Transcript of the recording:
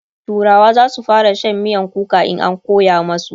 turawa zasu fara Shan miyan kuka in an koya masu